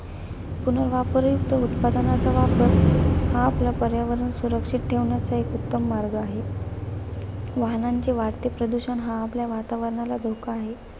पुनर्वापरयुक्त उत्पादनांचा वापर हा आपला पर्यावरण सुरक्षित ठेवण्याचा एक उत्तम मार्ग आहे. वाहनांचे वाढते प्रदूषण हा आपल्या वातावरणाला धोका आहे.